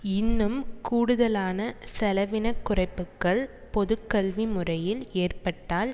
இன்னும் கூடுதலான செலவின குறைப்புக்கள் பொது கல்வி முறையில் ஏற்பட்டால்